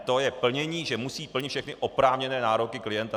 To je plnění, že musí plnit všechny oprávněné nároky klienta.